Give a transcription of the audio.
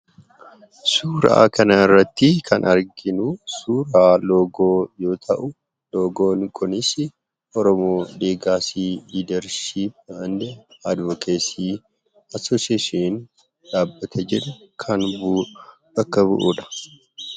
Suuraa kanarratti kan arginu suuraa loogoo yoo ta'u, loogoon kunis "Oromo Legacy Leadership and Advocacy association" dhaabbata jedhu kan bakka bu'udha.